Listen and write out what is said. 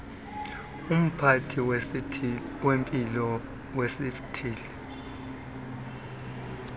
umphathi wezempilo wesithili